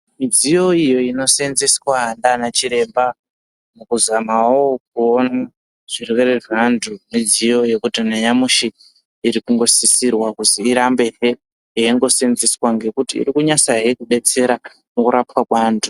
Midziyo iyo ino seenzeswa ngaana chiremba, muku zamawo kuona zvirwere zveanthu, midziyo yekuti nanyamushi iri kungosisirwa kuzwi irambe he ichiseenzeswa, ngekuti iri kunasa he, kudetsera mukurapwa kweanthu.